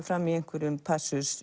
fram í einhverjum